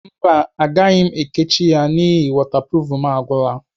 Mba agaghị m ekechi ya n'ihi wọtapruf agwụla.